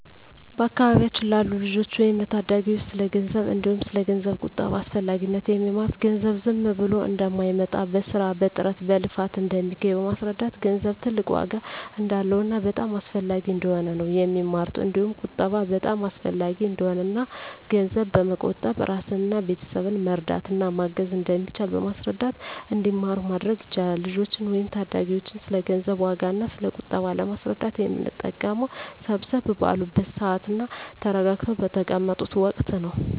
በአካባቢያችን ላሉ ልጆች ወይም ለታዳጊዎች ስለ ገንዘብ እንዲሁም ስለ ገንዘብ ቁጠባ አስፈላጊነት የሚማሩት ገንዘብ ዝም ብሎ እንደማይመጣ በስራ በጥረት በልፋት እንደሚገኝ በማስረዳት ገንዘብ ትልቅ ዋጋ እንዳለውና በጣም አስፈላጊ እንደሆነ ነው የሚማሩት እንዲሁም ቁጠባ በጣም አሰፈላጊ እንደሆነና እና ገንዘብ በመቆጠብ እራስንና ቤተሰብን መርዳት እና ማገዝ እንደሚቻል በማስረዳት እንዲማሩ ማድረግ ይቻላል። ልጆችን ወይም ታዳጊዎችን ስለ ገንዘብ ዋጋ እና ስለ ቁጠባ ለማስረዳት የምንጠቀመው ሰብሰብ ባሉበት ስዓት እና ተረጋግተው በተቀመጡት ወቀት ነው።